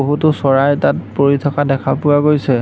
বহুতো চৰাই তাত পৰি থকা দেখা পোৱা গৈছে।